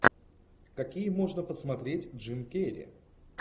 какие можно посмотреть джим керри